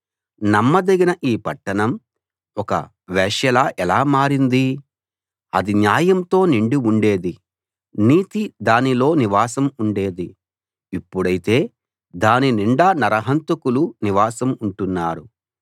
నమ్మదగిన ఈ పట్టణం ఒక వేశ్యలా ఎలా మారింది అది న్యాయంతో నిండి ఉండేది నీతి దానిలో నివాసం ఉండేది ఇప్పుడైతే దాని నిండా నరహంతకులు నివాసం ఉంటున్నారు